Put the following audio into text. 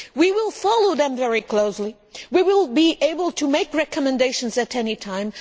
We will follow them very closely and will be able to make recommendations at any time.